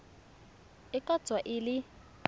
e ka tswa e le